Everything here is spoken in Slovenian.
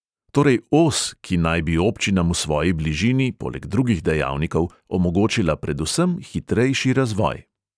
Torej os, ki naj bi občinam v svoji bližini, poleg drugih dejavnikov, omogočila predvsem hitrejši razvoj.